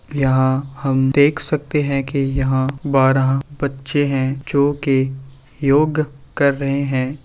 यहाँ हम देख सकते हैं कि यहाँ बारह बच्चे हैं जोकि योग कर रहे हैं।